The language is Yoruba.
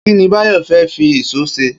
Kí ni Báyò̩ fé̩ fi ìs̩ó s̩e?